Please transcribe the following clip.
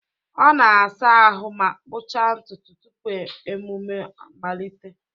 ọ na-asa ahụ ma kpụchaa ntutu tupu emume mmalite